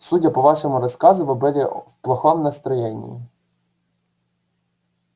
судя по вашему рассказу вы были в плохом настроении